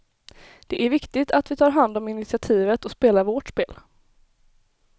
Det är viktigt att vi tar hand om initiativet och spelar vårt spel.